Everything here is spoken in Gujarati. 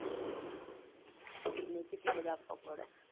અને કેટલા બધા આપવા પડે